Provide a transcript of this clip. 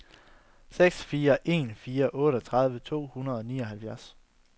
seks fire en fire otteogtredive to hundrede og nioghalvfems